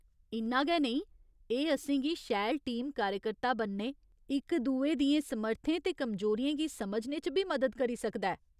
इन्ना गै नेईं, एह् असेंगी शैल टीम कार्यकर्ता बनने, इक दुए दियें समर्थें ते कमजोरियें गी समझने च बी मदद करी सकदा ऐ।